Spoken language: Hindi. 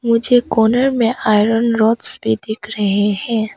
मुझे कॉर्नर में आयरन रॉड्स भी दिख रहे हैं।